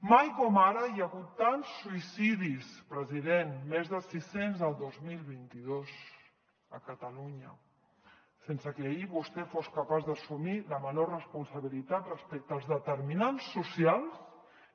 mai com ara hi ha hagut tants suïcidis president més de sis cents el dos mil vint dos a catalunya sense que ahir vostè fos capaç d’assumir la menor responsabilitat respecte als determinants socials